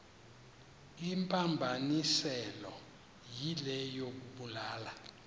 imphambanisileyo yile yokubulala